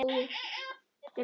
Þú gast lagað allt.